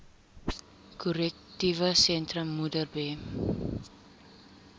korrektiewe sentrum modderbee